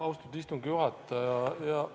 Austatud istungi juhataja!